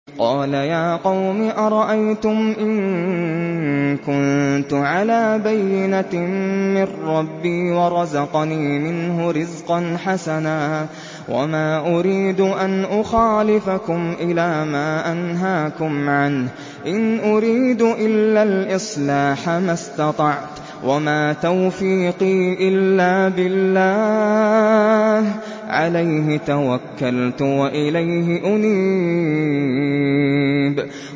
قَالَ يَا قَوْمِ أَرَأَيْتُمْ إِن كُنتُ عَلَىٰ بَيِّنَةٍ مِّن رَّبِّي وَرَزَقَنِي مِنْهُ رِزْقًا حَسَنًا ۚ وَمَا أُرِيدُ أَنْ أُخَالِفَكُمْ إِلَىٰ مَا أَنْهَاكُمْ عَنْهُ ۚ إِنْ أُرِيدُ إِلَّا الْإِصْلَاحَ مَا اسْتَطَعْتُ ۚ وَمَا تَوْفِيقِي إِلَّا بِاللَّهِ ۚ عَلَيْهِ تَوَكَّلْتُ وَإِلَيْهِ أُنِيبُ